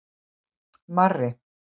Marri